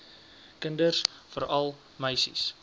kinders veral meisies